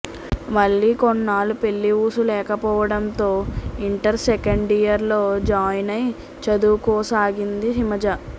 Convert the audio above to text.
మళ్ళీ కొన్నాళ్ళు పెళ్ళి ఊసు లేకపోవడంతో ఇంటర్ సెకెండ్ ఇయర్లో జాయిన్ అయి చదువుకోసాగింది హిమజ